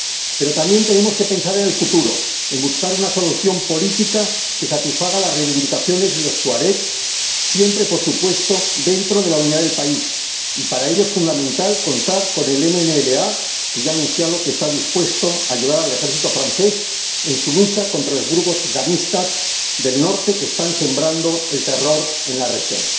Pero también tenemos que pensar en el futuro, en buscar una solución política que satisfaga las reivindicaciones de los tuaregs, siempre, por supuesto, dentro de la unidad del país, y para ello es fundamental contar con el MNLA, que ya ha anunciado que está dispuesto a ayudar al ejército francés en su lucha contra los grupos islamistas del norte que están sembrando el terror en la región.